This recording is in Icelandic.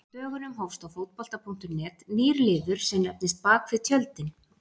Á dögunum hófst á Fótbolta.net nýr liður sem nefnist Bakvið tjöldin.